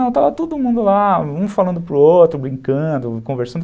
Estava todo mundo lá, um falando para o outro, brincando, conversando.